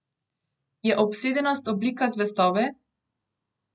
Je obsedenost oblika zvestobe?